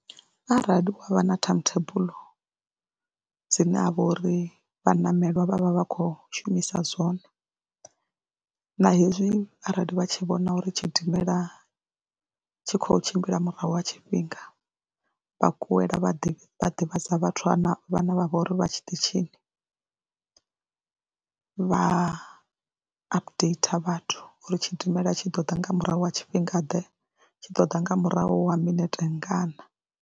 Arali wa vha na time table dzine ha vha uri vhaṋameli vha vha vha vha khou shumisa zwone na hezwi arali vha tshi vhona uri tshidimela tshi khou tshimbila murahu ha tshifhinga vha kuwela vha ḓi ḓivhadza vhathu vhanae vha vha vho uri vha tshiṱitshini, vha updater vhathu uri tshidimela tshi ḓo ḓa nga murahu ha tshifhingaḓe tshi ḓo ḓa nga murahu ha minete ngana.